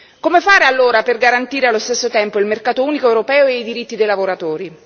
Come fare allora per garantire allo stesso tempo il mercato unico europeo e i diritti dei lavoratori?